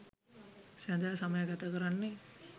සැඳෑ සමය ගත කරන්නේ